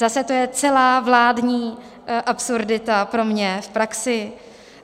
Zase to je celá vládní absurdita pro mě v praxi.